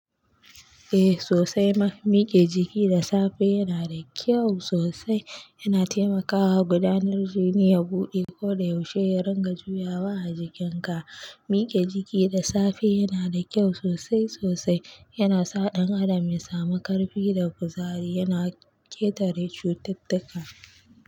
Eh sosai ma, mike jiki da safe yana da kyau sosai. Yana taimakawa gudanar jini ya buɗe ko da yaushe ya dinga juyawa a jikin ka mike jiki da safe yana da kyau sosai sosai. Yana sa ɗan adam ya samu ƙarfi da kuzari, yana ƙetare cututtuka.